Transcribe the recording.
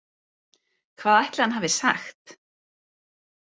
Hvað ætli hann hafi sagt?